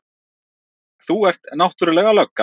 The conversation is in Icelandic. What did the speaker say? Þú ert náttúrlega lögga.